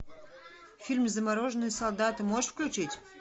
фильм замороженные солдаты можешь включить